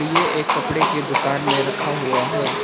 ये एक कपड़े की दुकान में रखा हुआ है।